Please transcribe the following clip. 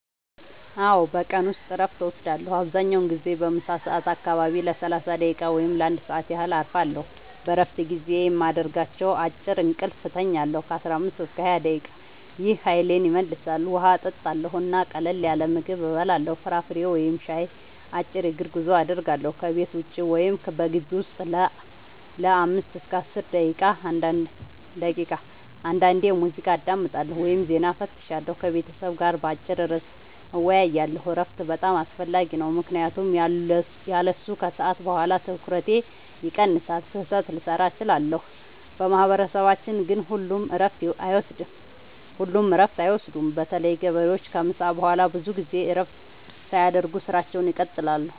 አዎ፣ በቀን ውስጥ እረፍት እወስዳለሁ። አብዛኛውን ጊዜ በምሳ ሰዓት አካባቢ ለ30 ደቂቃ ወይም ለ1 ሰዓት ያህል እረፋለሁ። በእረፍት ጊዜዬ የማደርጋቸው፦ · አጭር እንቅልፍ እተኛለሁ (15-20 ደቂቃ) – ይህ ኃይሌን ይመልሳል። · ውሃ እጠጣለሁ እና ቀላል ምግብ እበላለሁ (ፍራፍሬ ወይም ሻይ)። · አጭር የእግር ጉዞ አደርጋለሁ – ከቤት ውጭ ወይም በግቢው ውስጥ ለ5-10 ደቂቃ። · አንዳንዴ ሙዚቃ አዳምጣለሁ ወይም ዜና እፈትሻለሁ። · ከቤተሰብ ጋር በአጭር ርዕስ እወያያለሁ። እረፍት በጣም አስፈላጊ ነው ምክንያቱም ያለሱ ከሰዓት በኋላ ትኩረቴ ይቀንሳል፣ ስህተት ልሠራ እችላለሁ። በማህበረሰባችን ግን ሁሉም እረፍት አይወስዱም – በተለይ ገበሬዎች ከምሳ በኋላ ብዙ ጊዜ እረፍት ሳያደርጉ ሥራቸውን ይቀጥላሉ።